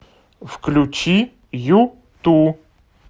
включи юту